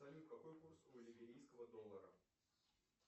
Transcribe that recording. салют какой курс у либерийского доллара